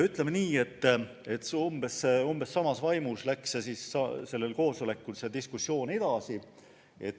Ütleme nii, et umbes samas vaimus läks see diskussioon sel koosolekul ka edasi.